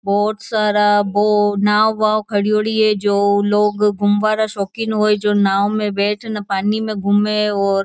बहुत सारा वो नाव वाव खड़ो डी है जो लोग गुंवारा शौकीन हुए जो नाव में बैठन पानी में घूमे और --